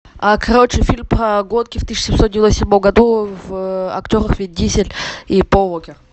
короче фильм про гонки в тысяча семьсот девяносто седьмом году в актерах вин дизель и пол уокер